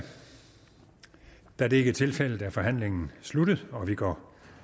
da det ikke er tilfældet er forhandlingen sluttet og vi går